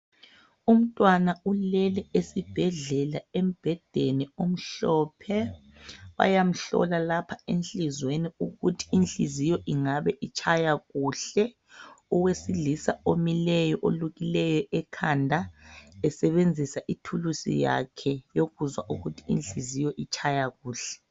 Umntwana ulele esibhedlela embhedeni omhlophe bayamhlola lapha enhliziyweni ukuthi inhliziyo ingabe itshaya kuhle owesilisa omileyo olukileyo ekhanda esebenzisa ithulusi yakhe yokuzwa ukuthi inhliziyo itshaya kuhle